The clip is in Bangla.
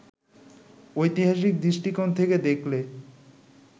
ঐতিহাসিক দৃষ্টিকোণ থেকে দেখলে